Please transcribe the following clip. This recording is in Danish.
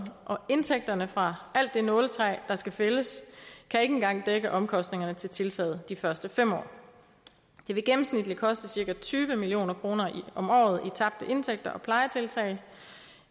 og indtægterne fra alt det nåletræ der skal fældes kan ikke engang dække omkostningerne til tiltaget de første fem år det vil gennemsnitligt koste cirka tyve million kroner om året i tabte indtægter og plejetiltag